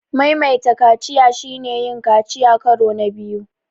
Maimaita kaciya shine yin kaciya karo na biyu.